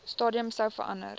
stadium sou verander